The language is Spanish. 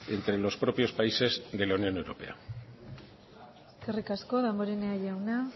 entre los propios países de la unión europea eskerrik asko damborenea jauna